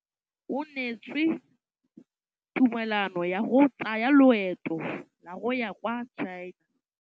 O neetswe tumalanô ya go tsaya loetô la go ya kwa China.